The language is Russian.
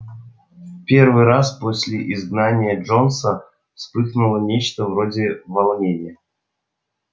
в первый раз после изгнания джонса вспыхнуло нечто вроде волнения